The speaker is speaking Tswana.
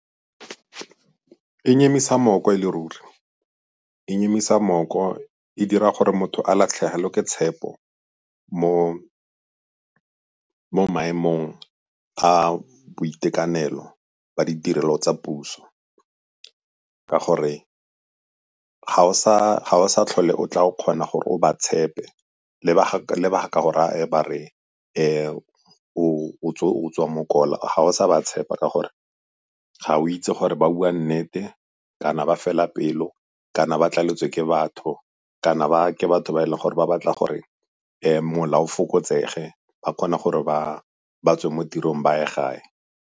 Di nyemisa mooko e le ruri. Di nyemisa mooko e dira gore motho a latlhegelwe ke tshepo mo maemong a boitekanelo ba ditirelo tsa puso, ka gore ga o sa tlhole o tla o kgona gore o ba tshepe le ba ga ka go raya ba re o tswa mokola ga o sa ba tshepa ka gore ga o itse gore ba bua nnete, kana ba fela pelo, kana ba tlaletswe ke batho, kana ba ke batho ba e leng gore ba batla gore mola o fokotsege ba kgone gore batswe mo tirong ba ye gae.